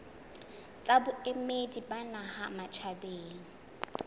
tsa boemedi ba naha matjhabeng